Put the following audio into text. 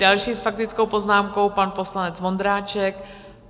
Další s faktickou poznámkou, pan poslanec Vondráček.